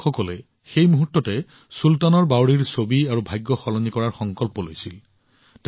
এই যুৱকসকলে সেই মুহূৰ্তত চুলতানৰ বাৱড়ীৰ ছবি আৰু ভাগ্য সলনি কৰাৰ সংকল্প লৈছিল